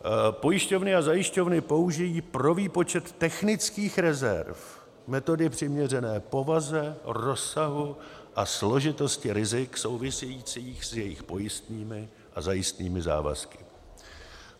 Pojišťovny a zajišťovny použijí pro výpočet technických rezerv metody přiměřené povaze, rozsahu a složitosti rizik souvisejících s jejich pojistnými a zajistnými závazky.